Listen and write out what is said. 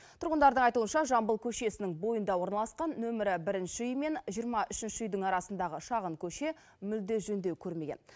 тұрғындардың айтуынша жамбыл көшесінің бойында орналасқан нөмірі бірінші үй мен жиырма үшінші үйдің арасындағы шағын көше мүлде жөндеу көрмеген